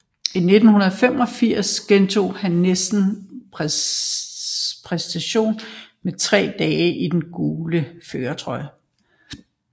I 1985 gentog han næsten præstationen med tre dage i den gule førertrøje